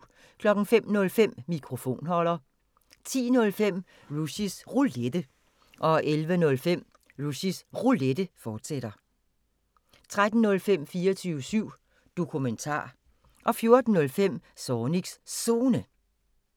05:05: Mikrofonholder 10:05: Rushys Roulette 11:05: Rushys Roulette, fortsat 13:05: 24syv Dokumentar 14:05: Zornigs Zone